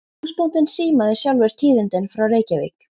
Húsbóndinn símaði sjálfur tíðindin frá Reykjavík.